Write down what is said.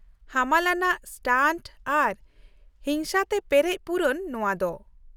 ᱦᱟᱢᱟᱞ ᱟᱱᱟᱜ ᱥᱴᱟᱱᱴ ᱟᱨ ᱦᱤᱝᱥᱟᱹ ᱛᱮ ᱯᱮᱨᱮᱡ ᱯᱩᱨᱩᱱ ᱱᱚᱶᱟ ᱫᱚ ᱾